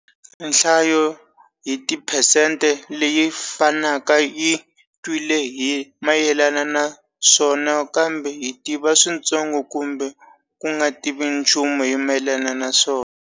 Nhlayo hi tiphesente leyi fanaka yi twile hi mayelana naswona kambe yi tiva switsongo kumbe ku nga tivi nchumu hi mayelana naswona.